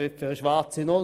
Wie sieht das StG aus?